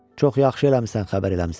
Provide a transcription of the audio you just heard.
Çox yaxşı eləmisən, xəbər eləmisən.